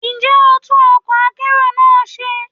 Ǹjẹ́ ò ń tún ọkọ̀ akérò náà ṣe ni?